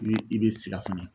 Ni i be siga fɛnɛ